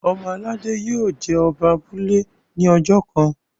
ọmọ aládé yio jé Oba abúlé ní ojó kán.